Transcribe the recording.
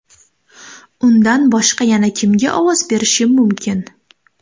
Undan boshqa yana kimga ovoz berishim mumkin?